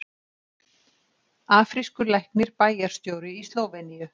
Afrískur læknir bæjarstjóri í Slóveníu